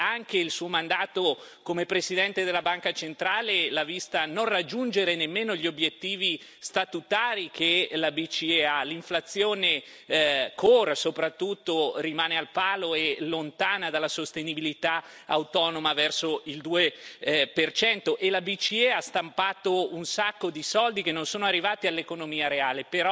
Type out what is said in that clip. E anche il Suo mandato come Presidente della Banca centrale l'ha vista non raggiungere nemmeno gli obbiettivi statutari che la BCE ha l'inflazione corre, soprattutto rimane al palo e lontana dalla sostenibilità autonoma verso il 2 e la BCE ha stampato un sacco di soldi che non sono arrivati all'economia reale.